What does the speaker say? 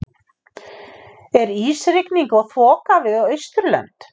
er ísrigning og þoka við austurlönd